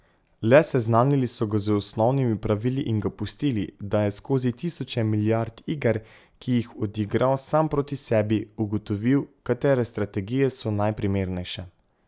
Le seznanili so ga z osnovnimi pravili in ga pustili, da je skozi tisoče milijard iger, ki jih odigral sam proti sebi, ugotovil, katere strategije so najprimernejše.